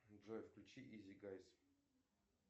джой включи изи гайс